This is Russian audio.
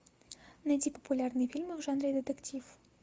найти популярные фильмы в жанре детектив